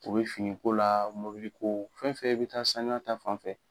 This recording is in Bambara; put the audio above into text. O bɛ finiko la mobiliko fɛn fɛn bɛ taa saniya ta fan fɛ